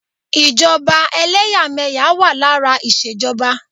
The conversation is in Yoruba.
Ìjọba ẹlẹ́yàmẹ̀yà wà lára ìṣèjọba.